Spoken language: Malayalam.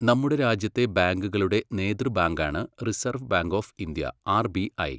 നമ്മുടെ രാജ്യത്തെ ബാങ്കുകളുടെ നേതൃബാങ്കാണ് reserve bank of India R B I.